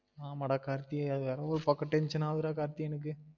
ஆமா டா கார்த்தி அது வேற ஒரு பக்கம் tension ஆவுது டா கார்த்தி எனக்கு